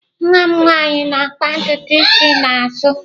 Nwa m nwanyị na-akpa ntutu isi n'azụ.